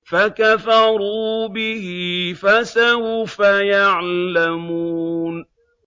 فَكَفَرُوا بِهِ ۖ فَسَوْفَ يَعْلَمُونَ